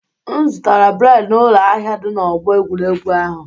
M zụtara bred n'ụlọ ahịa dị n'ọgbọ egwuregwu ahụ.